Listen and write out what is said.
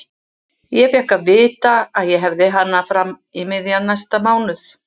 Ég fékk að vita að ég hefði hana fram í miðjan næsta mánuð.